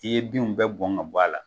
I ye binw bɛɛ bɔn ka bɔ a la,